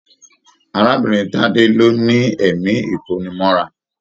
Arábìnrin Tade ló ní ẹ̀mí ikonimọ́ra.